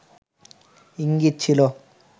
ইঙ্গিত ছিল